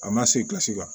A ma se ka se ka